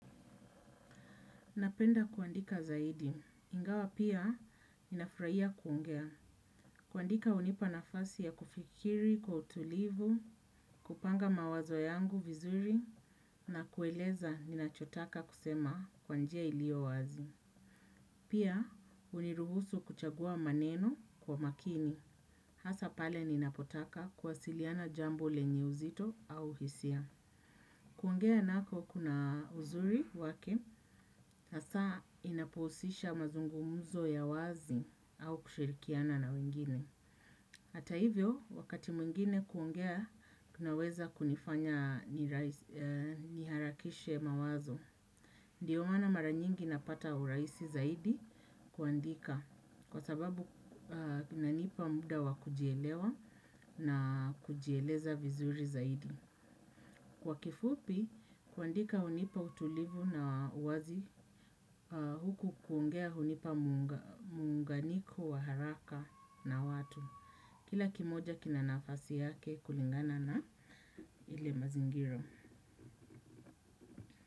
Napenda kuandika zaidi. Ingawa pia ninafurahia kuongea. Kuandika unipa nafasi ya kufikiri kwa utulivu, kupanga mawazo yangu vizuri na kueleza nina chotaka kusema kwa njia ilio wazi. Pia uniruhusu kuchagua maneno kwa makini. Hasa pale nina potaka kuwasiliana jambo lenye uzito au hisia. Kuongea nako kuna uzuri wake, hasa inapohusisha mazungumuzo ya wazi au kushirikiana na wengine. Hata hivyo wakati mwingine kuongea kunaweza kunifanya niharakishe mawazo ndio maana mara nyingi napata urahisi zaidi kuandika kwa sababu inanipa muda wa kujielewa na kujieleza vizuri zaidi kwa kifupi, kuandika unipa utulivu na uwazi huku kuongea unipa muunganiko wa haraka na watu. Kila kimoja kina nafasi yake kulingana na ile mazingiro.